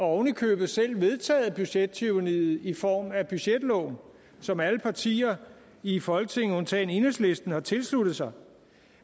oven i købet selv vedtaget budgettyranniet i form af budgetloven som alle partier i folketinget undtagen enhedslisten har tilsluttet sig